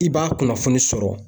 I b'a kunnafoni sɔrɔ